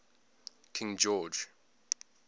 king george